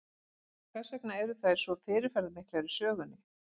Hvers vegna eru þær svo fyrirferðamiklar í sögunni?